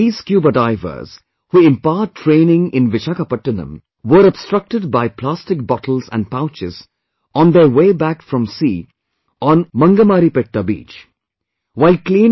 One day, these scuba divers, who impart training in Vishakhapattanam, were obstructed by plastic bottles and pouches on their way back from sea on Mangamaripetta beach